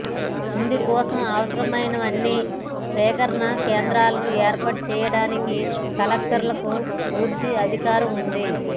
ఇందుకోసం అవసరమైనన్ని సేకరణ కేంద్రాలను ఏర్పాటు చేయాడానికి కలెక్టర్లకు పూర్తి అధికారం ఉంది